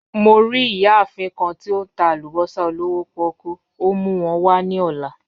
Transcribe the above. Mo ri iyaafin kan ti o n ta alubosa olowo poku, o mu wọn wa ni ọla.